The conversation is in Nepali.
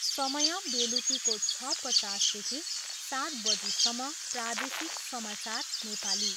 समय, बेलुकीको छ पचासदेखि सात बजीसम्म, प्रादेशिक समाचार नेपाली।